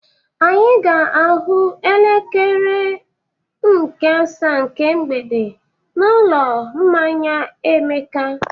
Anyị ga-ahụ n'elekere nke asaa nke mgbede n'ụlọ mmanya Emeka.